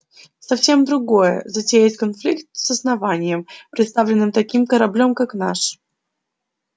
совсем другое затеять конфликт с основанием представленным таким кораблём как наш